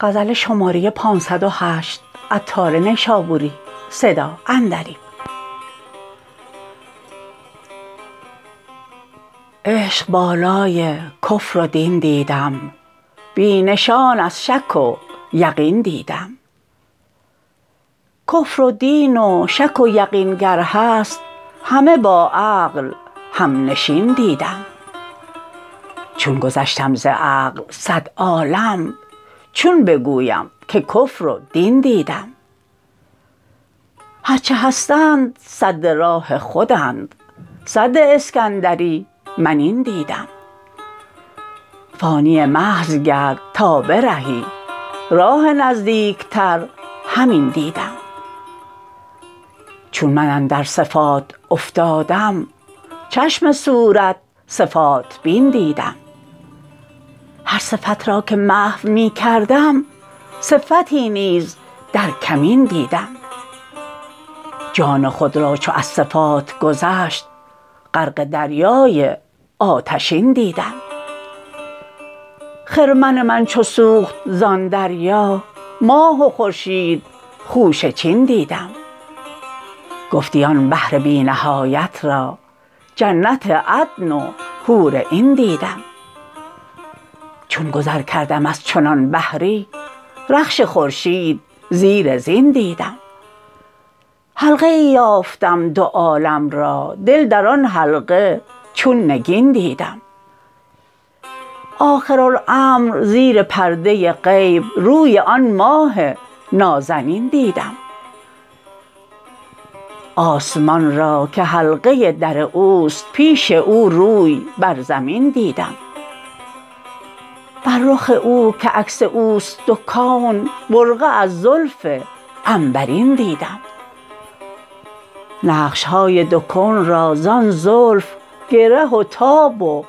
عشق بالای کفر و دین دیدم بی نشان از شک و یقین دیدم کفر و دین و شک و یقین گر هست همه با عقل همنشین دیدم چون گذشتم ز عقل صد عالم چون بگویم که کفر و دین دیدم هرچه هستند سد راه خودند سد اسکندری من این دیدم فانی محض گرد تا برهی راه نزدیکتر همین دیدم چون من اندر صفات افتادم چشم صورت صفات بین دیدم هر صفت را که محو می کردم صفتی نیز در کمین دیدم جان خود را چو از صفات گذشت غرق دریای آتشین دیدم خرمن من چو سوخت زان دریا ماه و خورشید خوشه چین دیدم گفتی آن بحر بی نهایت را جنت عدن و حور عین دیدم چون گذر کردم از چنان بحری رخش خورشید زیر زین دیدم حلقه ای یافتم دو عالم را دل در آن حلقه چون نگین دیدم آخر الامر زیر پرده غیب روی آن ماه نازنین دیدم آسمان را که حلقه در اوست پیش او روی بر زمین دیدم بر رخ او که عکس اوست دو کون برقع از زلف عنبرین دیدم نقش های دو کون را زان زلف گره و تاب و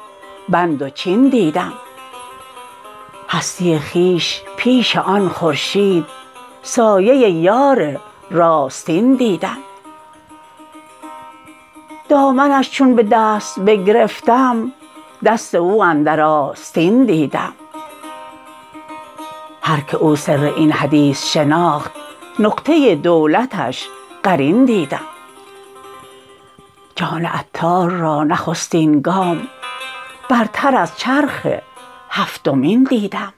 بند و چین دیدم هستی خویش پیش آن خورشید سایه یار راستین دیدم دامنش چون به دست بگرفتم دست او اندر آستین دیدم هر که او سر این حدیث شناخت نقطه دولتش قرین دیدم جان عطار را نخستین گام برتر از چرخ هفتمین دیدم